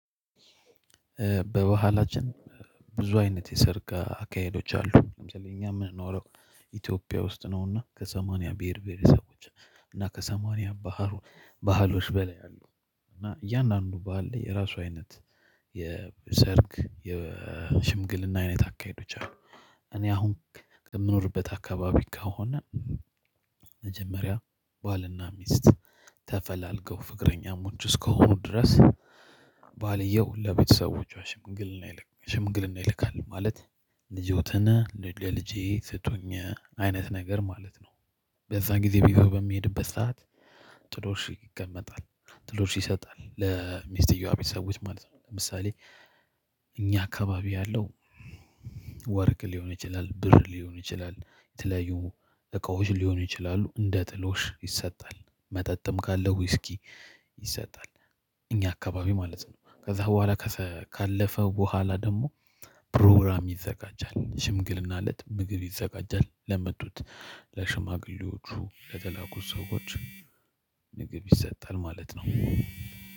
በባህላችን ብዙ አይነት የሰርግ አካሄዶች አሉ። ለምሳሌ እኛ የምንኖረው ኢትዮጵያ ውስጥ ነውና ከሰማንያ ብሄር ብሄር ሰቦች እና ከሰማንያ ባህል ባህሎች በላይ አሉ። እና እያንዳንዱ ባህለ የራሱ አይነት የሰርግ የሽምግልና አይነት አካሄዶች አሉ። እኔ አሁን የምኖርበት አካባቢ ከሆነ መጀመሪያ ባልና ሚስት ተፈላልገው ፍቅረኛሞች እስከሆኑ ድረስ። ባልየው ለቤተሰቦቿ ሽምግልና ይልካል ማለት ልጆትን ለልጄ ስጡኝ አይነት ነገር ማለት ነው። በዛ ጊዜ ቢሆን በሚሄድበት ሰዓት። ጥሎሽ ይቀመጣል ጥሎሽ ይሰጣል ለሚስትየዋ ቤተሰቦች ማለት ነው። ለምሳሌ እኛ አካባቢ ያለው ወርቅ ሊሆን ይችላል። ብር ሊሆን ይችላል የተለያዩ እቃዎች ሊሆኑ ይችላሉ። እንደ ጥሎሽ ይሰጣል መጠጥም ካለው ውስኪ ይሰጣል። እኛ አካባቢ ማለት ነው ከዛ በኋላ ካለፈ በኋላ ደግሞ ፕሮግራም ይዘጋጃል። ሽምግልና እለት ምግብ ይዘጋጃል ለመጡት ለሽማግሌዎቹ ለተላኩት ሰዎች ምግብ ይሰጣል ማለት ነው።